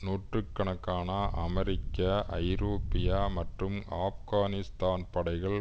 நூற்று கணக்கான அமெரிக்க ஐரோப்பிய மற்றும் ஆப்கானிஸ்தான் படைகள்